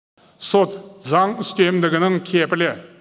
сот заң үстемдігінің кепілі